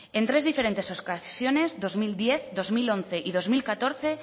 en tres diferentes ocasiones en dos mil diez en dos mil once y en dos mil catorce